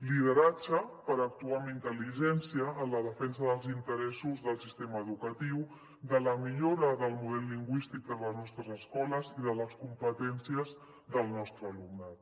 lideratge per actuar amb intel·ligència en la defensa dels interessos del sistema educatiu de la millora del model lingüístic de les nostres escoles i de les competències del nostre alumnat